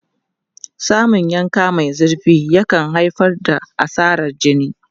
Samun yanka mai zurfi yakan haifar da asarar jini.